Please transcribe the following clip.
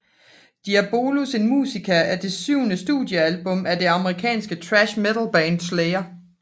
Diabolus in Musica er det syvende studiealbum af det amerikanske thrash metalband Slayer